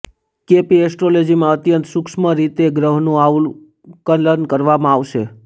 કે પી એસ્ટ્રોલોજીમાં અત્યંત સુક્ષ્મ રીતે ગ્રહનું આકલન કરવામાં આવે છે